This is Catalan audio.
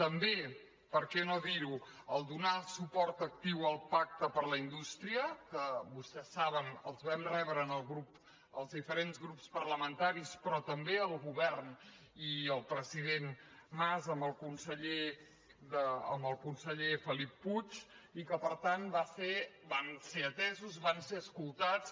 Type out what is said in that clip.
també per què no dir·ho donar el suport actiu al pac·te per a la indústria que vostès saben que els vam re·bre els diferents grups parlamentaris però també el govern i el president mas amb el conseller felip puig i que per tant van ser atesos van ser escoltats